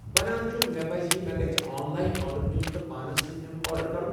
بنان چھُ مےٚ پزِ یہِ مے٘ گژھِ آن لاین آرڈر دِیوٗن تہٕ پانس سۭتۍ نِنُك آرڈر کُرن ۔